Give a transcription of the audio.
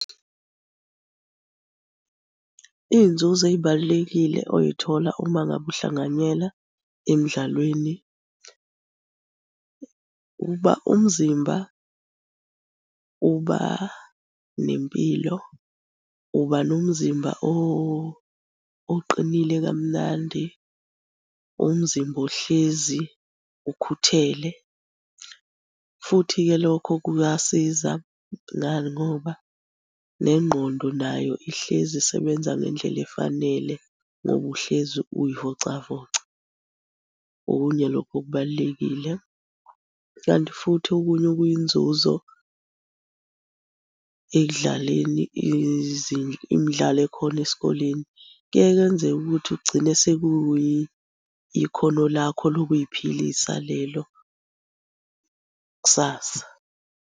Iy'nzuzo ey'balulekile oyithola uma ngabe uhlanganyela emdlalweni uba umzimba uba nempilo. Uba nomzimba oqinile kamnandi. Umzimba ohlezi ukhuthele, futhi-ke lokho kuyasiza, ngani ngoba nengqondo nayo ihlezi isebenza ngendlela efanele ngoba uhlezi uy'vocavoca. Okunye lokho okubalulekile, kanti futhi okunye okuyinzuzo ekudlaleni imidlalo ekhona esikoleni, kuyaye kwenzeke ukuthi ugcine sekuyi ikhono lakho lokuy'philisa lelo kusasa.